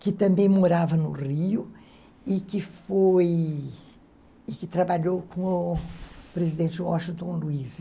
que também morava no Rio e que foi e que trabalhou com o presidente Washington Luiz.